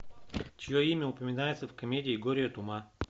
чье имя упоминается в комедии горе от ума